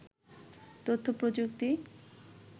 তথ্য প্রযুক্তি